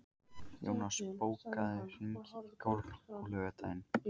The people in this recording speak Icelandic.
Jónas, bókaðu hring í golf á laugardaginn.